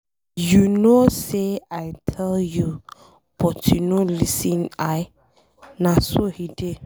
You no say I tell you but you no lis ten l, na so he dey.